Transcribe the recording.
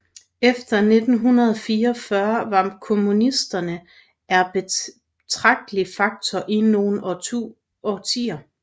Efter 1944 var kommunisterne er betragtelig faktor i nogle årtier